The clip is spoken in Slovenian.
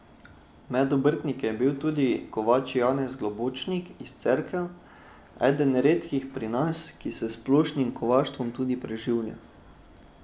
Med obrtniki je bil tudi kovač Janez Globočnik iz Cerkelj, eden redkih pri nas, ki se s splošnim kovaštvom tudi preživlja.